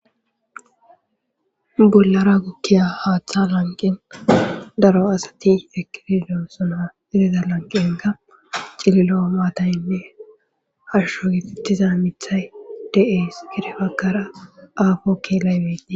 bollara gukkiya haaththa lanqin daro asati eqdi dosona idida lanqi egga cililo maataynne harsho gifettiza mithay de7es kirefakara aafo keelaybei